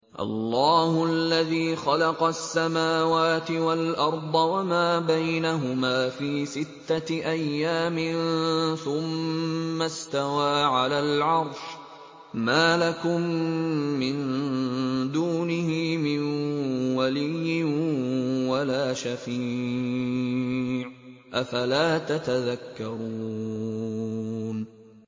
اللَّهُ الَّذِي خَلَقَ السَّمَاوَاتِ وَالْأَرْضَ وَمَا بَيْنَهُمَا فِي سِتَّةِ أَيَّامٍ ثُمَّ اسْتَوَىٰ عَلَى الْعَرْشِ ۖ مَا لَكُم مِّن دُونِهِ مِن وَلِيٍّ وَلَا شَفِيعٍ ۚ أَفَلَا تَتَذَكَّرُونَ